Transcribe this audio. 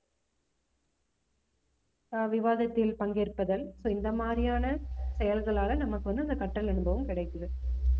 ஆஹ் விவாதத்தில் பங்கேற்பதல் so இந்த மாதிரியான செயல்களால நமக்கு வந்து அந்த கற்றல் அனுபவம் கிடைக்குது